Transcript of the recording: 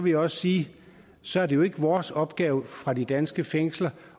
jeg også sige at så er det jo ikke vores opgave fra de danske fængsler